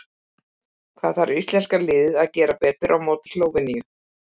Hvað þarf íslenska liðið að gera betur en á móti Slóveníu?